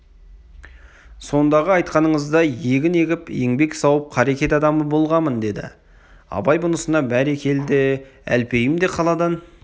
сондағы айтқаныңыздай егін егіп еңбек сауып қарекет адамы болғамын деді абай бұнысына бәрекелде әлпейім де қаладан